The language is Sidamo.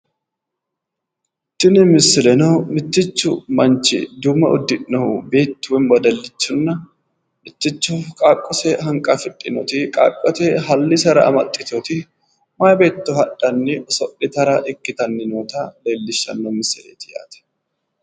tini misileno mittichu manchi duumo uddi'nohu beettu woy wedelichinna mitticho qaaqqose hanqafidhinoti qaaqqose hallisera amaxiteyooti mayi beetto hadhanni oso'litara ikkitanni noota leellishshano misileeti